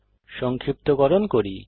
সংক্ষিপ্তকরণ করি